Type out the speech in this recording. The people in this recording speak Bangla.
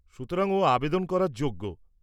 সুতরাং, ও আবেদন করার যোগ্য।